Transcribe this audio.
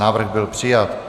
Návrh byl přijat.